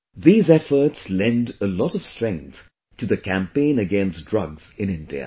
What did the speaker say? These efforts lend a lot of strength to the campaign against drugs in India